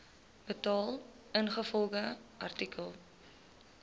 betaal ingevolge artikel